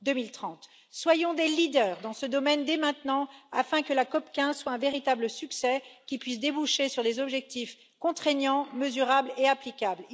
2030. Soyons des leaders dans ce domaine dès maintenant afin que la COP 15 soit un véritable succès qui puisse déboucher sur des objectifs contraignants, mesurables et applicables.